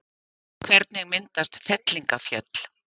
Hvernig myndast fellingafjöll?